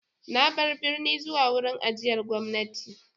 Na bar birni zuwa wurin ajiyar gwamnati.